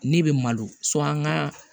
Ne bɛ malo an ka